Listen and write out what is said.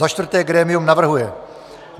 Za čtvrté grémium navrhuje: